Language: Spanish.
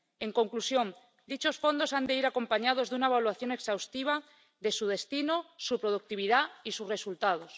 En conclusión, dichos fondos han de ir acompañados de una evaluación exhaustiva de su destino, su productividad y sus resultados.